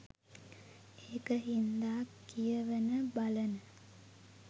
ඒක හින්දා කියවන බලන